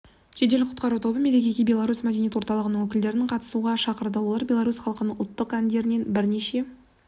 жедел құтқару тобы мерекеге белорусь мәдениет орталығының өкілдерін қатысуға шақырды олар белорусь халқының ұлттық әндерінен бірнеше